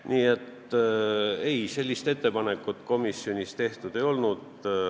Nii et sellist ettepanekut komisjonis ei tehtud.